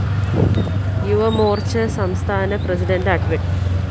യുവമോര്‍ച്ച സംസ്ഥാന പ്രസിഡന്റ് അഡ്വ